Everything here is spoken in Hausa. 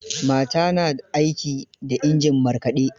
Mata na aiki da injin markaɗe.